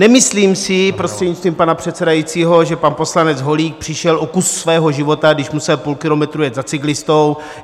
Nemyslím si, prostřednictvím pana předsedajícího, že pan poslanec Holík přišel o kus svého života, když musel půl kilometru jet za cyklistou.